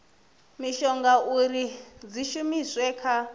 mishonga uri dzi shumiswe kha